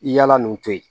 I yaala nin to yen